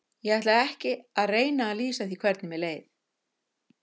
Ég ætla ekki að reyna að lýsa því hvernig mér leið.